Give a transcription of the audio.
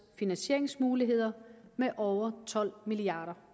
finansieringsmuligheder med over tolv milliard